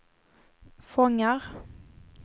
fångar